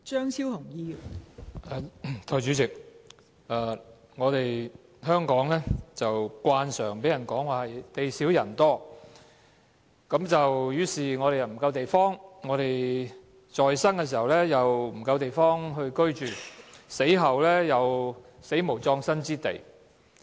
代理主席，香港慣常被人說是地少人多，於是我們在生時，不夠地方居住，死後亦無葬身之地。